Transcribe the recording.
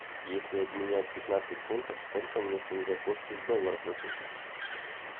если обменять пятнадцать фунтов сколько мне сингапурских долларов дадут